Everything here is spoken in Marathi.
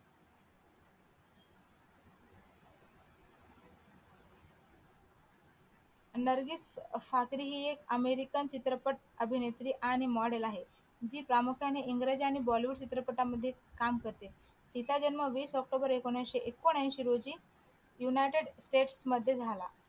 नर्गिस ठाकरे हि एक अमेरिकन चित्रपट अभिनेत्री आणि model आहे जी प्रामुख्याने इंग्रजी आणि बॉलीवूड चित्रपटांमध्ये काम करते तीचा जन्म वीस ऑक्टोबर एकोणविशे एकोणऐंशी रोजी united state मध्ये झाला